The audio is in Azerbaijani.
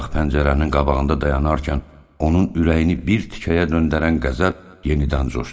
Bayaq pəncərənin qabağında dayanarkən, onun ürəyini bir tikəyə döndərən qəzəb yenidən coşdu.